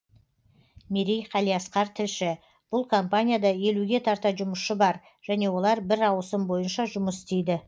мерей қалиасқар тілші бұл компанияда елуге тарта жұмысшы бар және олар бір ауысым бойынша жұмыс істейді